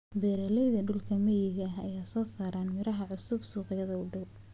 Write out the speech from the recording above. Beeraleyda dhulka miyiga ah ayaa soo saara miraha cusub suuqyada u dhow.